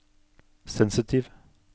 sensitiv